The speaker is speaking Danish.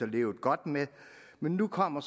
levet godt med men nu kommer